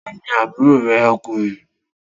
Ta ni àbúrò rẹ ọkùnrin?